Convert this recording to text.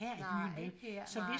Nej ikke her nej